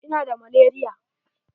Ina da malaria.